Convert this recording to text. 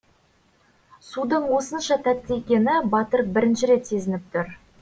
судың осынша тәтті екені батыр бірінші рет сезініп тұр